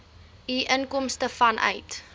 u inkomste vanuit